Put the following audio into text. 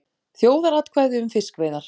Þjóðaratkvæði um fiskveiðar